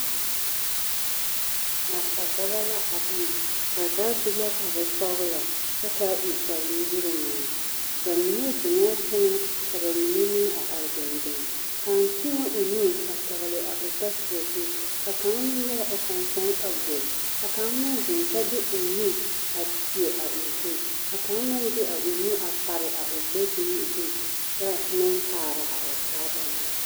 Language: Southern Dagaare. Nasadɔba la a bama, ba zaa su la kpare sɔgelɔ kyɛ k'a e kpare nu-wogiri meŋ, bamine zeŋɛɛ teŋɛ ka bamine meŋ a are dendeŋ, kaŋ tēɛ o nu a tɔgele a o tosobɔ zu ka kaŋ meŋ nyɔge o kpaŋkpane a guri, ka kaŋ meŋ zeŋ kyɛ de o nu a teɛ a o zu ka kaŋ meŋ de a o nu a pare a o gbɛ-duni zu kyɛ meŋ kaara a o taaba na.